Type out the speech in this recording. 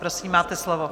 Prosím, máte slovo.